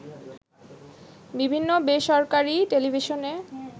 বিভিন্ন বেসরকারি টেলিভিশনে